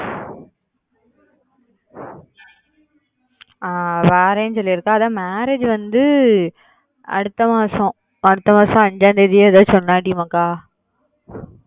ஆஹ் வாரேன்னு சொல்லிருக்க marriage வந்து அடுத்த மாசம் அடுத்த மாசம்